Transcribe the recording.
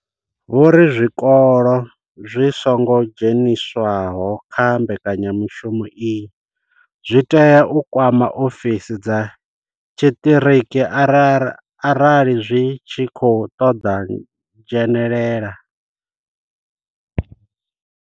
Vho ri zwikolo zwi songo dzheniswaho kha mbekanya mushumo iyi zwi tea u kwama ofisi dza tshiṱiriki arali zwi tshi khou ṱoḓa u dzhenelela.